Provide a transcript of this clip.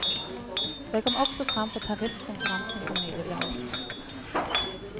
Det kom også frem på tariffkonferansen som nylig ble holdt.